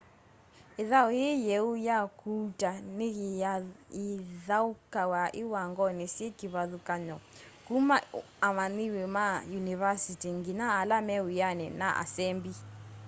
ithau yii yeu ya kuuta ni yithaukawa iwangoni syi kivathukanyo kuma amanyiwa ma yunivasĩtĩ nginya ala me wiani na asembi